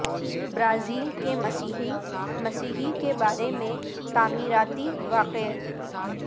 Brazil کے مسیحی مسیحی کے بارے میں تعمیراتی واقعے